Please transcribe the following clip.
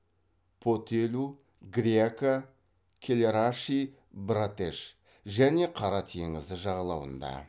потелу гряка кэлэраши братеш және қара теңізі жағалауында